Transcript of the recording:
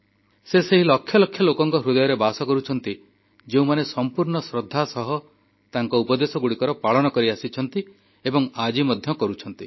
ସେ ସେହି ଲକ୍ଷ ଲକ୍ଷ ଲୋକଙ୍କ ହୃଦୟରେ ବାସ କରୁଛନ୍ତି ଯେଉଁମାନେ ସମ୍ପୂର୍ଣ୍ଣ ଶ୍ରଦ୍ଧା ସହ ତାଙ୍କ ଉପଦେଶଗୁଡ଼ିକର ପାଳନ କରିଆସିଛନ୍ତି ଏବଂ ଆଜି ମଧ୍ୟ କରୁଛନ୍ତି